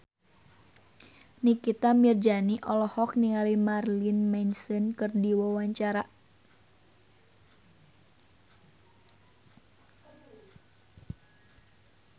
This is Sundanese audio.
Nikita Mirzani olohok ningali Marilyn Manson keur diwawancara